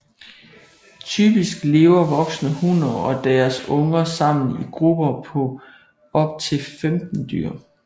Typisk lever voksne hunner og deres unger sammen i grupper på op til 15 dyr